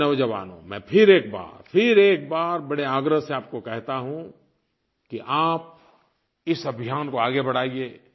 मेरे नौजवानो मैं फिर एक बार फिर एक बार बड़े आग्रह से आपको कहता हूँ कि आप इस अभियान को आगे बढ़ाइए